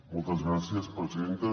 moltes gràcies presidenta